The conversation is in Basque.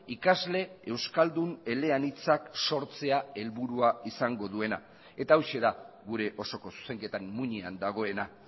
ikasle euskaldun eleanitzak sortzea helburua izango duena eta hauxe da gure osoko zuzenketan muinean dagoena